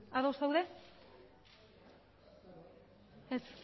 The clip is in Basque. ados zaude ez